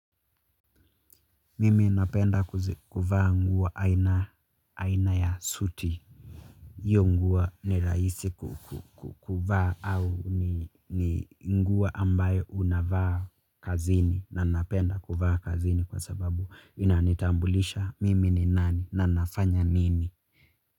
Mimi napenda kuvaa nguwo aina ya suti. Iyo nguwo ni raisi kuvaa au ni nguwa ambayo unavaa kazini na napenda kuvaa kazini kwa sababu inanitambulisha mimi ni nani na nafanya nini.